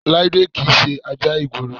Láídé kì í ṣe ajá ìgboro